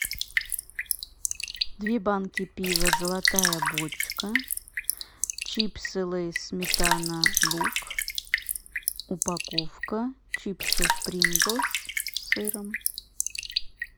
две банки пива золотая бочка чипсы лейс сметана лук упаковка чипсов принглс с сыром